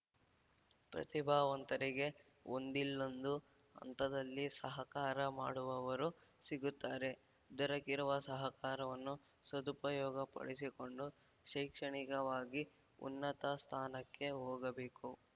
ಪ್ರತಿಭಾವಂತರಿಗೆ ಒಂದಿಲ್ಲೊಂದು ಹಂತದಲ್ಲಿ ಸಹಕಾರ ಮಾಡುವವರು ಸಿಗುತ್ತಾರೆ ದೊರಕಿರುವ ಸಹಕಾರವನ್ನು ಸದುಪಯೋಗ ಪಡಿಸಿಕೊಂಡು ಶೈಕ್ಷಣಿಕವಾಗಿ ಉನ್ನತ ಸ್ಥಾನಕ್ಕೆ ಹೋಗಬೇಕು